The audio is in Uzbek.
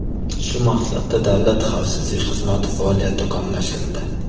Shu maqsadda Davlat xavfsizlik xizmati faoliyati takomillashtirildi.